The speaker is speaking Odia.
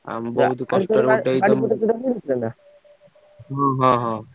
ଆମେ ବହୁତ୍ ହଁ ହଁ ହଁ।